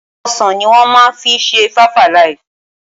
Ọsàn ní wọ́n máa fi ṣe five-alive.